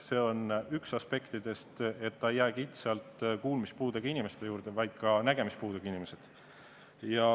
See on üks aspektidest, ta ei jää kitsalt kuulmispuudega inimeste juurde, vaid ka nägemispuudega inimesi.